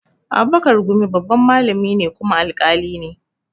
Abubakar gumi babban malami ne kuma alƙali ne